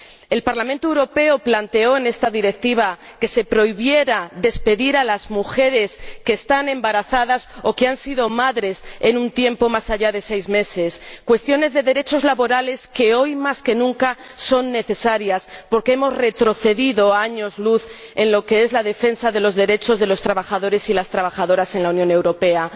El Parlamento Europeo planteó en esta Directiva que se prohibiera despedir a las mujeres embarazadas o que han dado a luz en los últimos seis meses, cuestiones de derechos laborales que hoy más que nunca son necesarias, porque hemos retrocedido años luz en lo que es la defensa de los derechos de los trabajadores y las trabajadoras en la Unión Europea.